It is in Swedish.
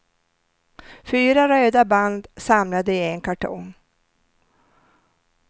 Fyra röda band samlade i en kartong.